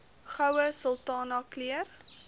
goue sultana keur